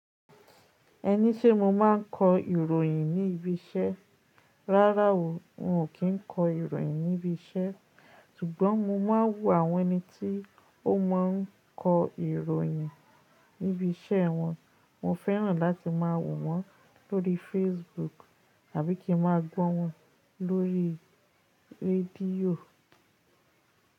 Ẹni sé mo máa ń kọ ìròyìn ní ibi iṣẹ́. Rárá o, n ò kí ń kọ ìròyìn ní ibi iṣẹ́. Ṣùgbọ́n mo máa ń wò àwọn ẹni tí ó máa ń kọ ìròyìn ní ibi iṣẹ́ wọn. Mo fẹ́ràn láti máa wò wọ́n lórí Facebook àbí kí ń máa gbọ́ wọn lórí rédíò.